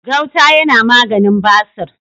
gauta yana maganin basir